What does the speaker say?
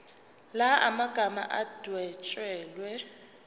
la magama adwetshelwe